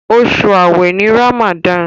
Osu aawe ní Ramadan.